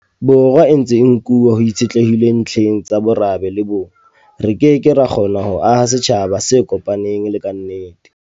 Borwa e ntse e nkuwa ho itshitlehilwe ntlheng tsa morabe le bong, re ke ke ra kgona ho aha setjhaba se kopaneng e le kannete.